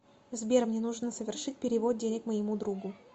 сбер мне нужно совершить перевод денег моему другу